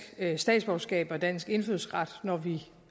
statsborgerskab og dansk indfødsret når vi